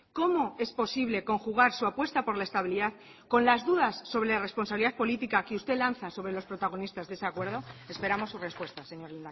cómo es posible conjugar su apuesta por la estabilidad con las dudas sobre la responsabilidad política que usted lanza sobre los protagonistas de ese acuerdo esperamos su respuesta señor